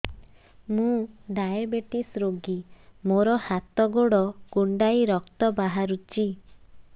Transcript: ମୁ ଡାଏବେଟିସ ରୋଗୀ ମୋର ହାତ ଗୋଡ଼ କୁଣ୍ଡାଇ ରକ୍ତ ବାହାରୁଚି